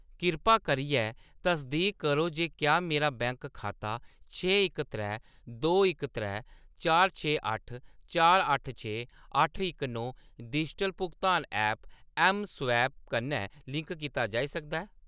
किरपा करियै तसदीक करो जे क्या मेरा बैंक खाता छे इक त्रै दो इक त्रै चार छे अट्ठ चार अट्ठ छे अट्ठ इक नौ डिजिटल भुगतान ऐप्प ऐम्मस्वैप कन्नै लिंक कीता जाई सकदा ऐ ?